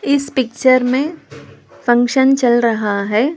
इस पिक्चर में फंक्शन चल रहा है।